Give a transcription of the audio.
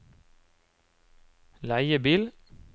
leiebil